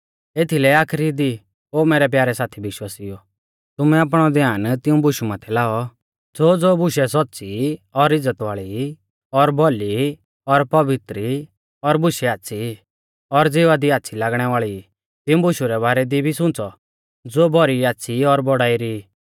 एथीलै आखरी दी ओ मैरै प्यारै साथी विश्वासिउओ तुमै आपणौ ध्यान तिऊं बुशु माथै लाऔ ज़ोज़ो बुशै सौच़्च़ी ई और इज़्ज़त वाल़ी ई और भौली ई और पवित्र ई और बुशै आच़्छ़ी ई और ज़िवा दी आच़्छ़ी लागणै वाल़ी ई तिऊं बुशु रै बारै दी भी सुंच़ौ ज़ो भौरी आच़्छ़ी और बौड़ाई री